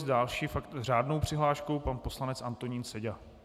S další řádnou přihláškou pan poslanec Antonín Seďa.